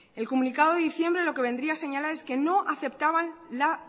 el comunicado de diciembre lo que vendría a señalar es que no aceptaban la